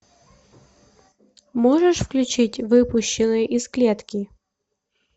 можешь включить выпущенный из клетки